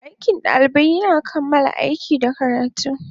Aikin ɗalibai yana kammala aiki da karatu.